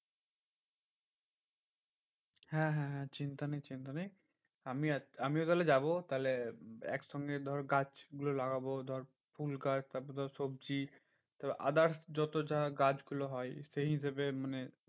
হ্যাঁ হ্যাঁ হ্যাঁ চিন্তা নেই চিন্তা নেই আমিও আছি আমিও তাহলে যাবো। তাহলে একসঙ্গে ধর গাছ গুলো লাগাবো ধর ফুলগাছ তারপর ধর সবজি তোর others যত যা গাছগুলো হয় সেই হিসেবে মানে